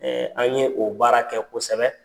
an ye o baara kɛ kosɛbɛ.